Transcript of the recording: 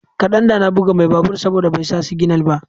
kadan da na buga mai babur saboda bai sa signal ba.